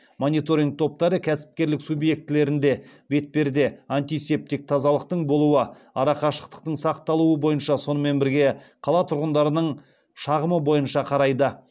мониторинг топтары кәсіпкерлік субъектілерінде бетперде антисептик тазалықтың болуы арақашықтықтың сақталуы бойынша сонымен бірге қала тұрғындарының шағымы бойынша қарайды